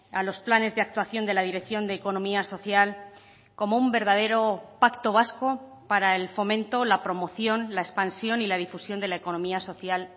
a los planes de actuación de la dirección de economía social como un verdadero pacto vasco para el fomento la promoción la expansión y la difusión de la economía social